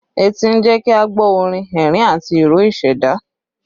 Etí ń jẹ́ kí a gbọ́ orin, ẹ̀rín, àti ìró ìṣẹ̀dá